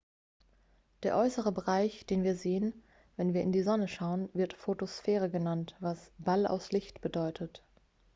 "der äußere bereich den wir sehen wenn wir in die sonne schauen wird photosphäre genannt was "ball aus licht" bedeutet.